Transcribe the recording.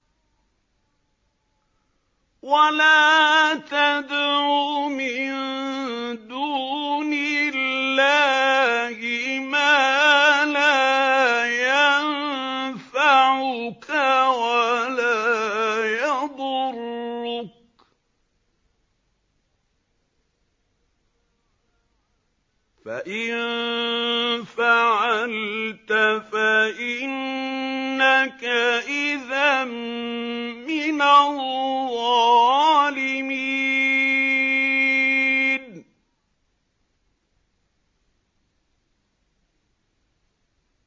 وَلَا تَدْعُ مِن دُونِ اللَّهِ مَا لَا يَنفَعُكَ وَلَا يَضُرُّكَ ۖ فَإِن فَعَلْتَ فَإِنَّكَ إِذًا مِّنَ الظَّالِمِينَ